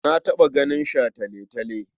Na taɓa ganin shataletale.